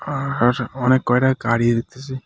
আর অনেক কয়টা গাড়িই দেখতেসি.